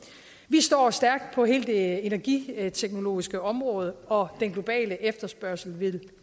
står stærkt på hele det energiteknologiske område og den globale efterspørgsel vil